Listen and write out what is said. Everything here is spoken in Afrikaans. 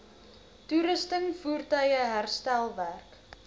toerusting voertuie herstelwerk